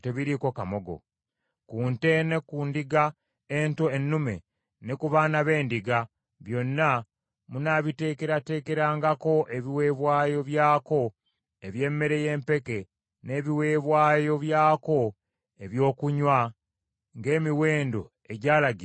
Ku nte ne ku ndiga ento ennume, ne ku baana b’endiga, byonna munaabiteekerateekerangako ebiweebwayo byako eby’emmere y’empeke n’ebiweebwayo byako ebyokunywa, ng’emiwendo egyalagirwa bwe giri.